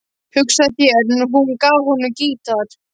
Hugsaðu þér, hún gaf honum gítar.